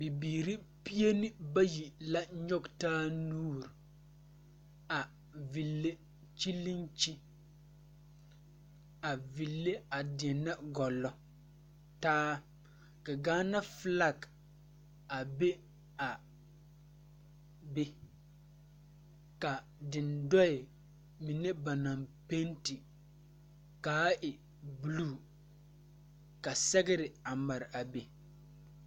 Bibiire pienebayi la nyogtaa nuure a ville kyɛ leŋ kyi a ville a deɛnɛ gɔllɔ taa ka gaanabflak a be a be ka dendoɛ mine ba naŋ penti kaa e bluu ka sɛgre a mare a be.